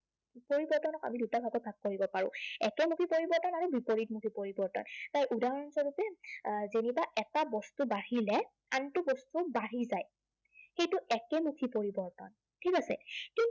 পৰিৱৰ্তনক আমি দুটা ভাগত ভাগ কৰিব পাৰো। একেমুখী পৰিৱৰ্তন আৰু বিপৰীতমুখী পৰিৱৰ্তন। তাৰ উদাহৰণস্বৰূপে আহ যেনিবা এটা বস্তু বাঢ়িলে আনটো বস্তু বাঢ়ি যায়। সেইটো একেমুখী পৰিৱৰ্তন। ঠিক আছে?